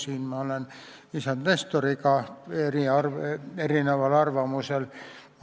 Siin olen ma isand Nestorist erineval arvamusel.